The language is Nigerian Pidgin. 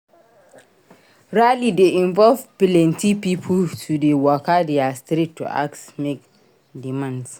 Rally de involve pilenty pipo to de waka their street to ask make demands